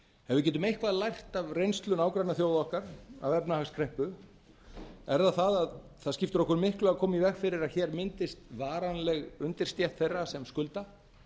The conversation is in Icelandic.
við getum eitthvað lært af reynslu nágrannaþjóða okkar af efnahagskreppu er það að það skiptir okkur miklu að koma í veg fyrir að hér myndist varanleg undirstétt þeirra sem skulda